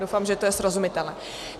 Doufám, že to je srozumitelné.